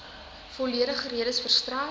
volledige redes verstrek